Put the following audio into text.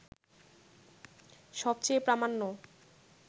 সবচেয়ে প্রামাণ্য